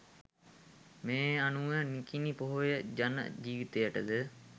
මේ අනුව නිකිණි පෝය ජන ජීවිතයටද